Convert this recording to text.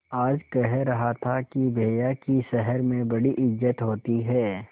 आज कह रहा था कि भैया की शहर में बड़ी इज्जत होती हैं